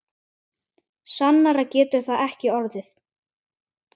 Sannara getur það ekki orðið.